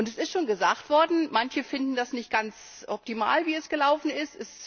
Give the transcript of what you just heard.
Es ist schon gesagt worden, manche finden das nicht ganz optimal, wie es gelaufen ist.